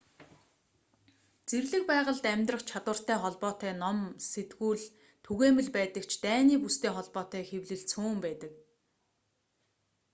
зэрлэг байгальд амьдрах чадвартай холбоотой ном болон сэтгүүл түгээмэл байдаг ч дайны бүстэй холбоотой хэвлэл цөөн байдаг